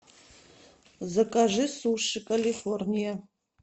закажи суши калифорния